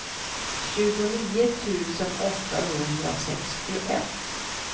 tjugonio tusen åttahundrasextioett